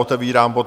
Otevírám bod